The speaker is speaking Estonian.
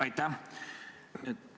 Aitäh!